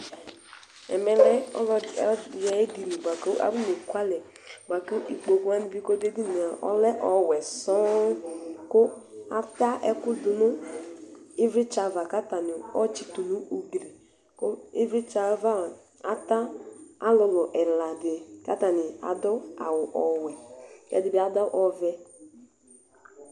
ɛmɛlɛ edeŋi ku afonekulɛ , buaku ikpokuwani ka ɖu eɖiŋe lɛ ɔwɛ sɔ̃ ku ata ɛkuɖunu iʋlitsɛ ava katani awɔ tsatu nu ugli, ku iʋlitsɛ ava ata ɔlulu ɛla dini ka atani aɖu awu ɔwɛ kɛdibi aɖu ɔvɛ